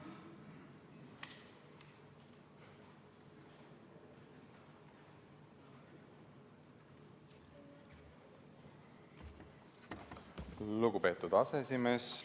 Lugupeetud aseesimees!